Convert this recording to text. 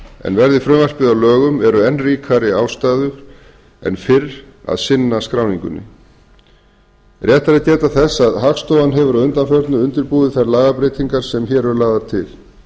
en verði frumvarpið að lögum eru enn ríkari ástæður en fyrr að sinna skráningunni rétt er að geta þess að hagstofan hefur að undanförnu undirbúið þær lagabreytingar sem hér eru lagðar til